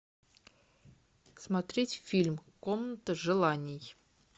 смотреть фильм комната желаний